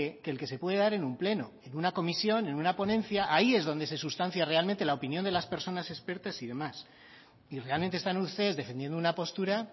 que el que se pueda dar en un pleno en una comisión en una ponencia ahí es donde se sustancia realmente la opinión de las personas expertas y demás y realmente están ustedes defendiendo una postura